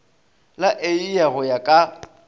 la eia go ya ka